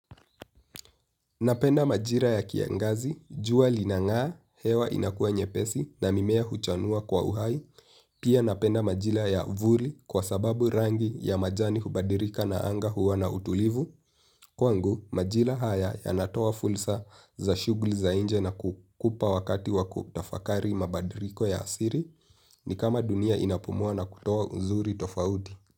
Napenda majira ya kiangazi, jua linang'aa hewa inakuwa nyepesi na mimea huchanua kwa uhai. Pia napenda majira ya vuli kwa sababu rangi ya majani hubadilika na anga huwa na utulivu. Kwangu, majira haya yanatoa fulra za shughuli za nje na kukupa wakati wa kutafakari mabadiliko ya asili ni kama dunia inapumua na kutoa uzuri tofauti.